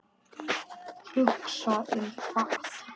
Hugsa um hvað?